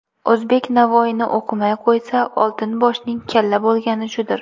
O‘zbek Navoiyni o‘qimay qo‘ysa, Oltin boshning kalla bo‘lgani shudir.